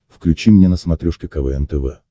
включи мне на смотрешке квн тв